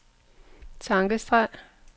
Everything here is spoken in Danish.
tankestreg